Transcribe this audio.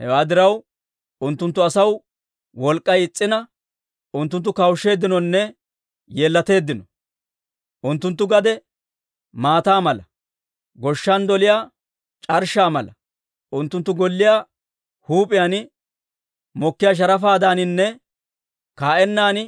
Hewaa diraw, unttunttu asaw wolk'k'ay is's'ina, Unttunttu kawusheeddinonne yeellateeddino. Unttunttu gade maataa mala; goshshan doliyaa c'arshshaa mala. Unttunttu golliyaa huup'iyaan mokkiyaa sharafaadaaninne ka"ennan